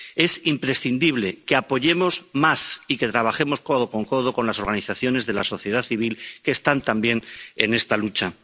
Es imprescindible que apoyemos más y que trabajemos codo con codo con las organizaciones de la sociedad civil que están también en esta lucha.